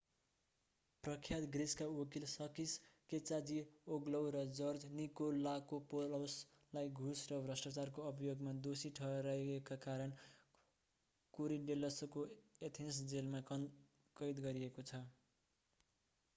प्रख्यात ग्रीसका वकिल साकिस् केचाजिओग्लौ sakis kechagioglou र जर्ज निकोलाकोपौलस george nikolakopoulosलाई घुस र भ्रष्टाचारको अभियोगमा दोषी ठहरिएका कारण कोरिडेल्लसको Athens jail athens' jail of korydallus मा कैद गरिएको छ।